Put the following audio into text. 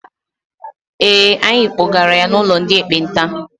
Ee, anyị kpọgara ya n'ụlọ ndị ekpenta.